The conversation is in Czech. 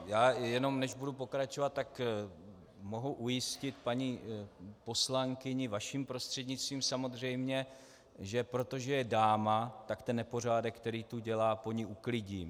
Já jenom než budu pokračovat, tak mohu ujistit paní poslankyni, vaším prostřednictvím samozřejmě, že protože je dáma, tak ten nepořádek, který tu dělá, po ní uklidím.